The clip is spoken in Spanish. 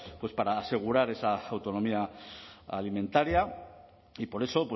para asegurar esa autonomía alimentaria y por eso